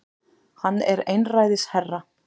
Hann er einræðisherra